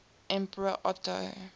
emperor otto